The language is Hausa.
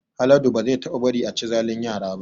Haladu ba zai taɓa bari a chi zalin yara ba